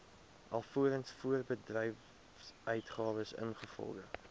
alvorens voorbedryfsuitgawes ingevolge